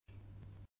கலந்து கொண்டமைக்கு நன்றி